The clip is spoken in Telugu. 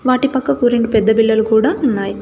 వాటి పక్కకు రెండు పెద్ద బిల్లలు కూడా ఉన్నాయ్.